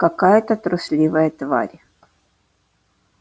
какая-то трусливая тварь